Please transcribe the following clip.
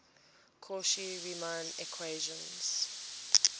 cauchy riemann equations